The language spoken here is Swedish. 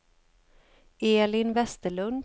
Elin Vesterlund